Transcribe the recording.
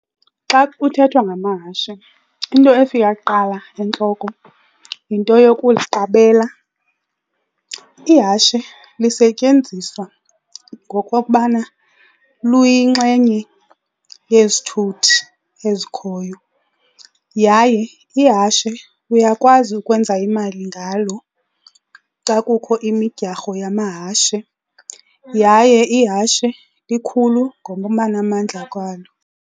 Xa kuthethwa ngamahashe into efika kuqala entloko yinto yokuliqabela. Ihashe lisetyenziswa ngokokubana luyinxenye yezithuthi ezikhoyo yaye ihashe uyakwazi ukwenza imali ngalo xa kukho imidyarho yamahashe yaye ihashe likhulu ngokubanamandla kwalo.